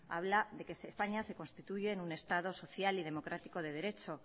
habla de que españa se constituye en un estado social y democrático de derecho